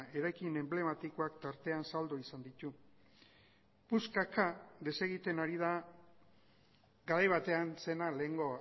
eraikin enblematikoak tartean saldu izan ditu puskaka desegiten ari da garai batean zena lehengo